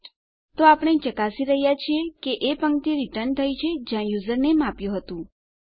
તો આપણે શું કરી રહ્યા છીએ આપણે ચકાસી રહ્યા છીએ કે એ પંક્તિ રીટર્ન થઈ છે જ્યાં આપણે યુઝરનેમ આપ્યું હતું